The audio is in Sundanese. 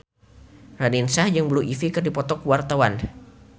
Raline Shah jeung Blue Ivy keur dipoto ku wartawan